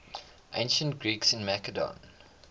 ancient greeks in macedon